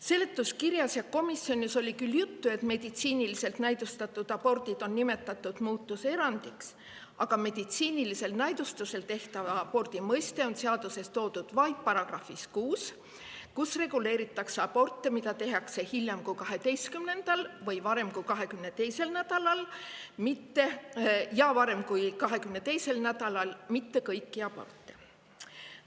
Seletuskirjas ja komisjonis oli küll juttu sellest, et meditsiiniliselt näidustatud abordid on nimetatud muudatuse puhul erandiks, aga meditsiinilisel näidustusel tehtava abordi mõiste on toodud seaduse §‑s 6, kus reguleeritakse aborte, mida tehakse hiljem kui 12. ja varem kui 22. nädalal, mitte kõiki aborte.